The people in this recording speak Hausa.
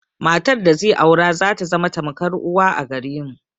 Matar da zai aura zata zama tamkar uwa a gare mu.